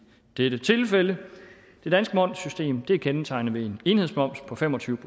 dette tilfælde det danske momssystem er kendetegnet ved en enhedsmoms på fem og tyve